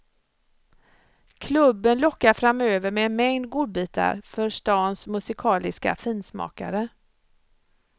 Klubben lockar framöver med en mängd godbitar för stans musikaliska finsmakare.